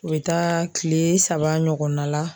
U bɛ taa tile saba ɲɔgɔnna la